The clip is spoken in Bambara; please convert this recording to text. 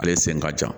Ale sen ka jan